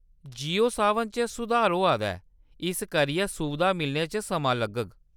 जियो सावन च सुधार होआ दा ऐ, इस करियै सुविधां मिलने च समां लग्गग।